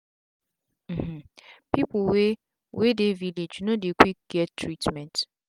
um people wey wey dey village no dey quick get treatment